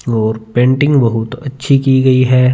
और पेंटिंग बहुत अच्छी की गयी है।